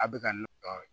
A bɛ ka n tɔɔrɔ